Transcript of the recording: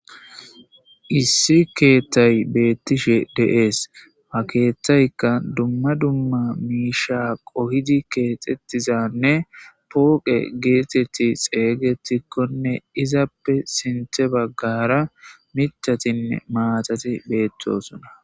Issi Keeththay Betishe De'es Ha Keeththaykka Dumma Dumma Miishsha Qohidi Keexxetizanne Pooqe Getethi Xeegetionne Izappe Sinththe Baggara Mittatine Matati Betosona